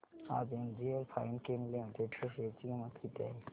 आज एनजीएल फाइनकेम लिमिटेड च्या शेअर ची किंमत किती आहे